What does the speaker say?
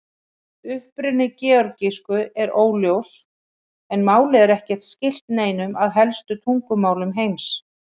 Uppruni georgísku er óljós en málið er ekki skylt neinum af helstu tungumálum heims.